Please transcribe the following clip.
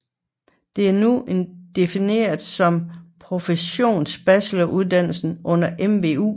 Den er nu defineret som en professsionsbacheloruddannelse under MVU